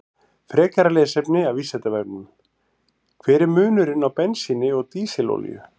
Frekara lesefni af Vísindavefnum: Hver er munurinn á bensíni og dísilolíu?